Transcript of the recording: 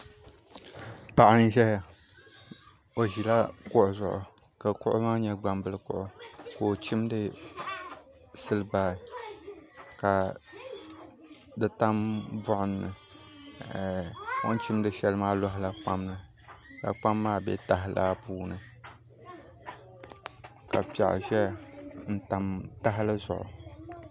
Paɣa n ʒiya o ʒila kuɣu zuɣu ka kuɣu maa nyɛ gbambili kuɣu ka o chimdi silbaar ka di tam buɣum ni o ni chimdi shɛli maa loɣala kpam ni ka kpam maa bɛ taha laa puuni ka piɛɣu ʒɛya n tam tahali zuɣu